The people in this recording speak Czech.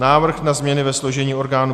Návrh na změny ve složení orgánů